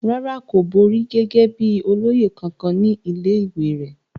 rárá, kò borí gẹ́gẹ́ bíi olóyè kankan ní ilé ìwé rẹ̀